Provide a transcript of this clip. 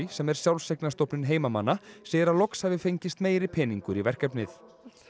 sem er sjálfseignarstofnun heimamanna segir að loks hafi fengist meiri peningur í verkefnið